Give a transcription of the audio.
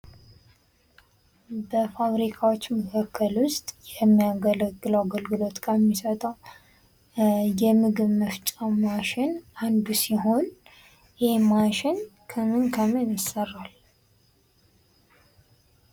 በፋሪካዎች መካከል ውስጥ የሚያገለግለው አገልግሎት ከሚሰጠው የምግብ መፍጫ ማሽን አንዱ ሲሆን ይህም ማሽን ከምን ከምን ይሰራል?